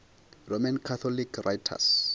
roman catholic writers